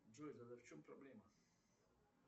джой тогда в чем проблема